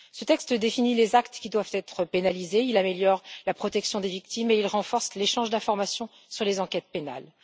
Ce texte définit les actes qui doivent être criminalisés, améliore la protection des victimes et renforce l'échange d'informations sur les enquêtes pénales.